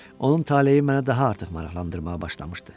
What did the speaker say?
Onun taleyi məni daha artıq maraqlandırmağa başlamışdı.